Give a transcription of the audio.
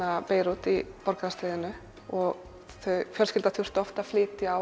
Beirút í borgarastríðinu og fjölskyldan þurfti oft að flytja